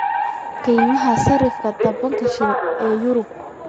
qiimaha sarifka tobanka shilin ee Euro